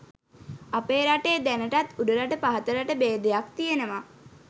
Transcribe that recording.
අපේ රටේ දැනටත් උඩරට පහතරට බේදයක් තියෙනවා.